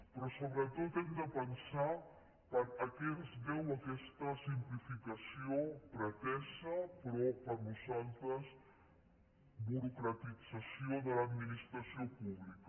però sobretot hem de pensar a què es deu aquesta simplificació pretesa però per nosaltres burocratització de l’administració pública